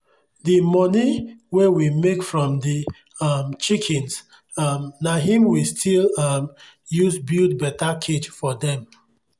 the moni wey we make from the um chickens um na him we still um use build better cage for them.